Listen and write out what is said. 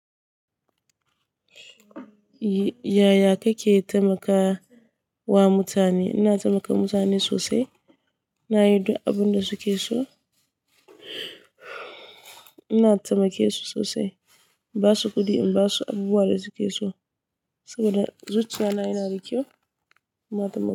Yaya kake taimaka wa mutane? Ina taimaka mutane sosai. Ina yi duk abin da suke so. Ina taimake su sosai. In ba su kuɗi, in ba su abubuwan da suke so saboda zuciya na yana da kyau. Na taimake.